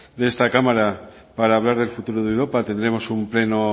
de esta cámara para hablar del futuro de europa tendremos un pleno